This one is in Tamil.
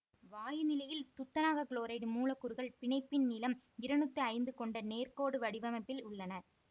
வாயு நிலையில் துத்தநாக குளோரைடு மூலக்கூறுகள் பிணைப்பின் நீளம் இருநூற்றி ஐந்து கொண்ட நேர் கோடு வடிவமைப்பில் உள்ளன